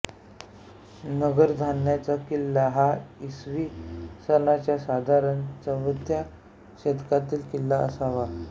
नगरधाणचा किल्ला हा इसवी सनाच्या साधारण चवथ्या शतकातील किल्ला असावा